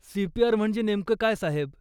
CPR म्हणजे नेमकं काय, साहेब?